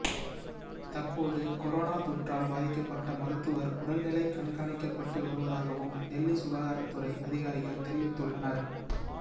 தற்போது கொரோனா தொற்றால் பாதிக்கப்பட்ட மருத்துவர் உடல்நிலை கண்காணிக்கப்பட்டு வருவதாகவும் டெல்லி சுகாதாரத்துறை அதிகாரிகள் தெரிவித்துள்ளனர்